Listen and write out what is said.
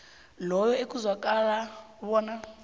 loyo ekuzwakala bona